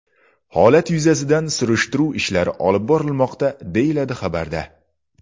Holat yuzasidan surishtiruv ishlari olib borilmoqda, deyiladi xabarda.